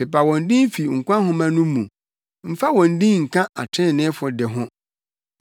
Pepa wɔn din fi nkwa nhoma no mu, mfa wɔn din nka atreneefo de ho.